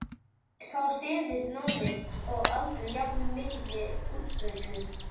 Sá siður náði þó aldrei jafn mikilli útbreiðslu.